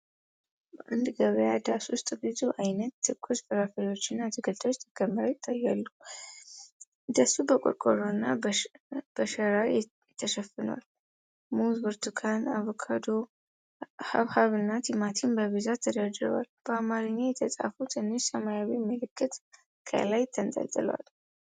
በአንድ ገበያ ዳስ ውስጥ ብዙ ዓይነት ትኩስ ፍራፍሬዎችና አትክልቶች ተከምረው ይታያሉ። ዳሱ በቆርቆሮና በሸራ ተሸፍኗል፤ ሙዝ፣ ብርቱካን፣ አቮካዶ፣ ሐብሐብና ቲማቲም በብዛት ተደርድረዋል። በአማርኛ የተጻፈ ትንሽ ሰማያዊ ምልክት ከላይ ተንጠልጥሏል።